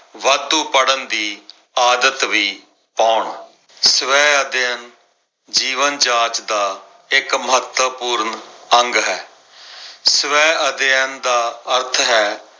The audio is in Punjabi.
ਵਾਧੂ ਪੜਨ ਦੀ ਆਦਤ ਵੀ ਪਾਉਣ। ਸਵੈ ਅਧਿਐਨ ਜੀਵਨ ਜਾਚ ਦਾ ਇੱਕ ਮਹੱਤਵਪੂਰਨ ਅੰਗ ਹੈ। ਸਵੈ ਅਧਿਐਨ ਦਾ ਅਰਥ ਹੈ